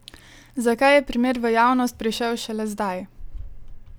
Zakaj je primer v javnost prišel šele zdaj?